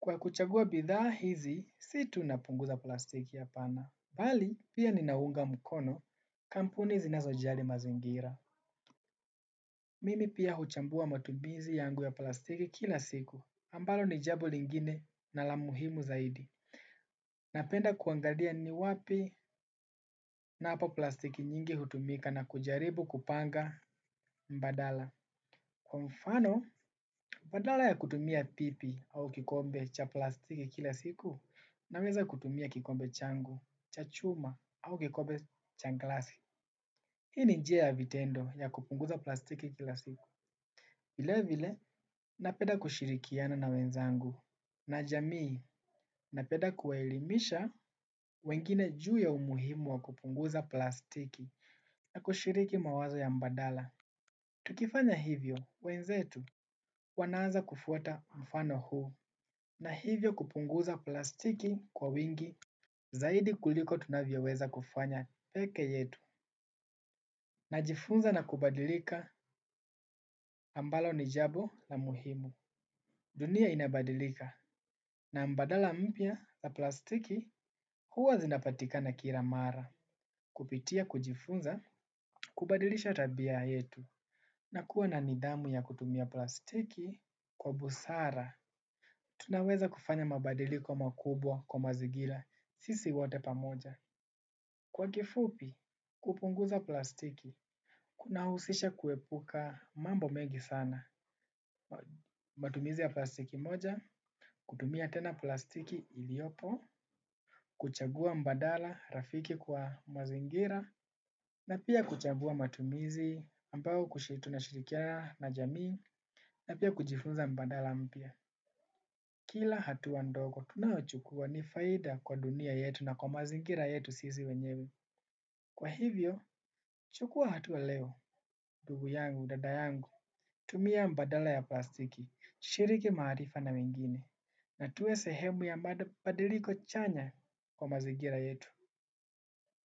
Kwa kuchagua bidhaa hizi, si tu napunguza plastiki hapana. Bali, pia ninaunga mkono kampuni zinazojali mazingira. Mimi pia huchambua matumizi yangu ya plastiki kila siku, ambalo ni jambo lingine na la muhimu zaidi. Napenda kuangalia ni wapi napo plastiki nyingi hutumika na kujaribu kupanga mbadala. Kwa mfano, badala ya kutumia pipi au kikombe cha plastiki kila siku naweza kutumia kikombe changu, cha chuma au kikombe cha glasi. Hii ni njia ya vitendo ya kupunguza plastiki kila siku. Vile vile, napenda kushirikiana na wenzangu. Na jamii napeda kuwaelimisha wengine juu ya umuhimu wa kupunguza plastiki na kushiriki mawazo ya mbadala. Tukifanya hivyo wenzetu wanaaza kufuata mfano huu na hivyo kupunguza plastiki kwa wingi zaidi kuliko tunavyoweza kufanya pekee yetu. Najifunza na kubadilika ambalo ni jambo la muhimu. Dunia inabadilika na mbadala mpya la plastiki huwa zinapatika na kila mara. Kupitia kujifunza, kubadilisha tabia yetu. Na kuwa na nidhamu ya kutumia plastiki kwa busara. Tunaweza kufanya mabadiiko makubwa kwa mazingira sisi wote pamoja. Kwa kifupi, kupunguza plastiki, kunahusisha kuepuka mambo mengi sana. Matumizi ya plastiki moja, kutumia tena plastiki iliopo. Kuchagua mbadala rafiki kwa mazingira na pia kuchagua matumizi ambao kushi tunashirikia na jamii na pia kujifunza mbadala mpya. Kila hatua ndogo, tunaochukua ni faida kwa dunia yetu na kwa mazingira yetu sisi wenyewe. Kwa hivyo, chukua hatua leo, ndugu yangu, dada yangu. Tumia mbadala ya plastiki, shiriki maarifa na wengine. Na tuwe sehemu ya mabadiliko chanya kwa mazigira yetu.